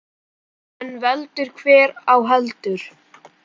En veldur hver á heldur.